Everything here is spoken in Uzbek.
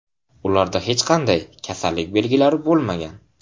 Ularda hech qanday kasallik belgilari bo‘lmagan.